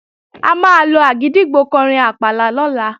A máa lo àgìdìgbò kọrin àpàlà lọ́la